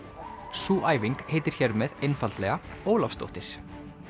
sú æfing heitir hér með einfaldlega Ólafsdóttir